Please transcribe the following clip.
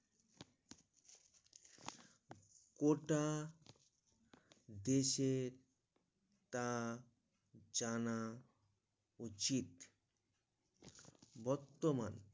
ওটা দেশের তা জানা উচিত বর্তমান